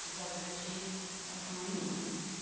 Se só tiver X, é porque é uma menina. Hum